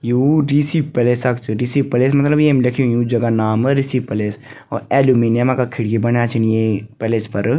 यु Rishi palace क च Rishi palace मतलब येम लिख्युं यु जगह नाम ऋषि पैलेस और अल्लुमिनियम का खिड़की बण्यां छिन ये पैलेस फर।